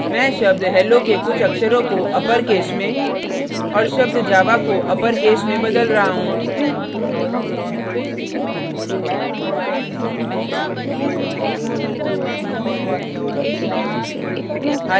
मैं शब्द hello के कुछ अक्षरों को अपरकेस में और शब्द java को अपरकेस में बदल रहा हूँ